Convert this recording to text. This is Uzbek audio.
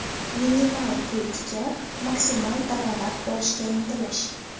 minimal pul tikib, maksimal daromad ko‘rishga intilish.